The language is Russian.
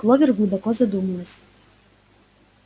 кловер глубоко задумалась